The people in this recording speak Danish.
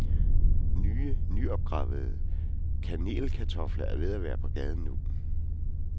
Nye, nyopgravede kanelkartofler er ved at være på gaden nu.